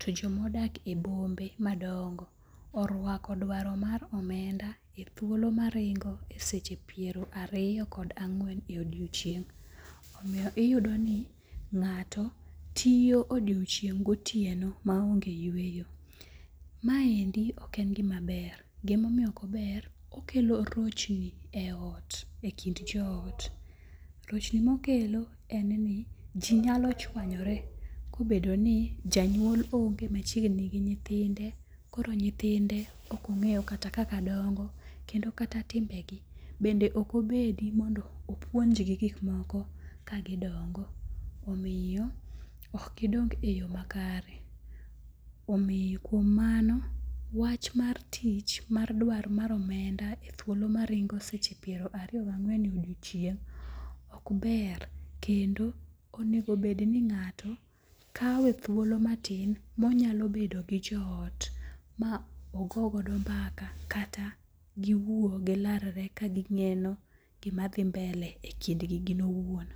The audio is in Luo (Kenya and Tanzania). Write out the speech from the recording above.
to joma odak e bombe madongo orwako dwaro mar omenda e thuolo maringo e seche pirariyo kod angwen e odiochieng', omiyo iyudoni nga'to tiyo odiochieng' gotieno maonge' yweyo, maendi oken gimaber, gimomiyo ok ober okelo rochni e lot e kind johot, rochni mokelo en ni jinyalo chuanyore kobedo ni janyuol onge machiegni gi nyithinde koro nyithinde okonge'yo kata kaka dongo' kendo kata timbegi bende okobedi mondo opuonjgi gik moko kagi dongo, omiyo ok gidong e yo makare, omiyo kuom mano wach mar tich mar duaro mar omenda e thuolo maringo e seche piyero ariyo gi ange'wen odiochieng' ok ber kendo onego bed ni nga'to kawe thuolo matin monyalo bedo gi joot ma ogogodo mbaka kata gi wuo gi lar re ka gineno gimathi mbele e kindgi owuon.